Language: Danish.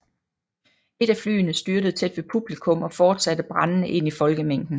Et af flyene styrtede tæt ved publikum og fortsatte brændende ind i folkemængden